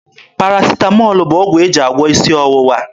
Parasịtamọọl bụ ọgwụ e ji agwọ isi ọwụwa.